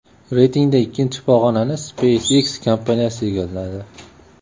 Reytingda ikkinchi pog‘onani SpaceX kompaniyasi egalladi.